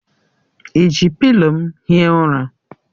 I ji pịlo m hie ụra?